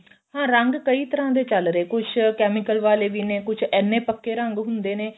ਹਾਂ ਰੰਗ ਕਈ ਤਰ੍ਹਾਂ ਦੇ ਚੱਲ ਰਹੇ ਕੁੱਝ chemical ਵਾਲੇ ਵੀ ਨੇ ਕੁੱਝ ਇੰਨੇ ਪੱਕੇ ਰੰਗ ਹੁੰਦੇ ਨੇ